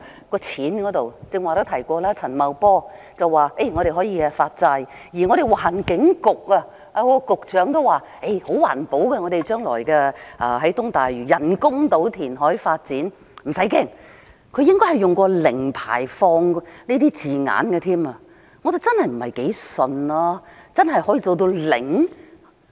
剛才也提到，陳茂波司長說可以發債，而環境局局長亦說東大嶼人工島將來的填海發展十分環保，大家不用害怕，他應該曾經使用"零排放"等字眼，但我真的不太相信，真的可以做到"零"？